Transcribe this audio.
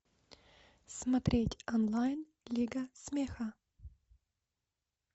смотреть онлайн лига смеха